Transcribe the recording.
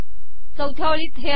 चौथया ओळीत हे आहे